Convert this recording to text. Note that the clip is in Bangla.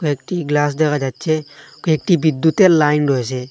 একটি গ্লাস দেখা যাচ্চে কয়েকটি বিদ্যুতের লাইন রয়েছে।